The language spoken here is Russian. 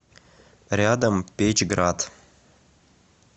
рядом печьград